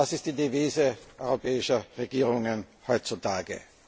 Das ist die Devise europäischer Regierungen heutzutage.